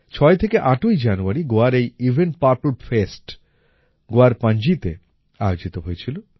৬ থেকে ৮ই জানুয়ারি গোয়ার এই ইভেন্ট পার্পল ফেস্ট গোয়ার পণজিতে আয়োজিত হয়েছিল